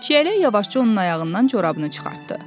Çiyələk yavaşca onun ayağından corabını çıxartdı.